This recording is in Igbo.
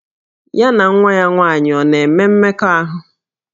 Ya na nwa ya nwaanyị ọ̀ na-enwe mmekọahụ?